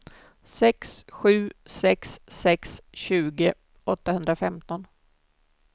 sex sju sex sex tjugo åttahundrafemton